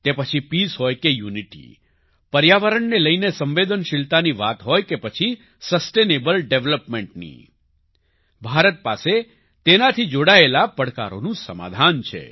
તે પછી પીસ હોય કે યુનિટી પર્યાવરણને લઈને સંવેદનશીલતાની વાત હોય કે પછી સસ્ટેનેબલ developmentની ભારત પાસે તેનાથી જોડાયેલા પડકારોનું સમાધાન છે